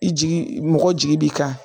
I jigi mɔgɔ jigi b'i kan